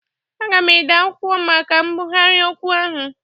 Aga m ede akwụkwọ maka mbụgharị okwu ahụ